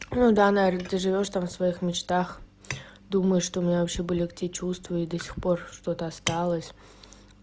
ну да наверное ты живёшь там своих мечтах думаю что у меня вообще были эти чувства и до сих пор что-то осталось